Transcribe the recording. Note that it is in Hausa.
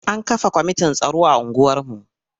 An kafa kwamitin tsaro a unguwarmu.